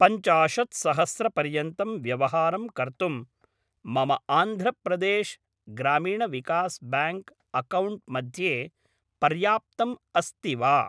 पञ्चाशत्सहस्रपर्यन्तं व्यवहारं कर्तुं मम आन्ध्र प्रदेश् ग्रामीण विकास् ब्याङ्क् अक्कौण्ट् मध्ये पर्याप्तम् अस्ति वा?